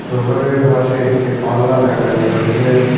দোকানের পাশে একটি পাল্লা দেখা যাইতেসে।